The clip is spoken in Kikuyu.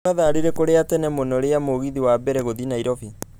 nĩ mathaa rĩriĩkũ rĩa tene mũno rĩa mũgithi wa mbere gũthiĩ nairobi